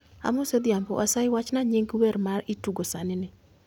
Amosi Odhiambo, asayi wachna nying wer ma itugo sani ni